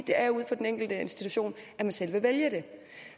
det er ude på den enkelte institution man selv kan vælge det